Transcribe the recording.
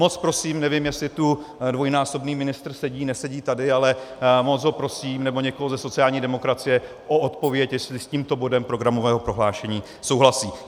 Moc prosím - nevím, jestli tu dvojnásobný ministr sedí, nesedí tady, ale moc ho prosím, nebo někoho ze sociální demokracie, o odpověď, jestli s tímto bodem programového prohlášení souhlasí.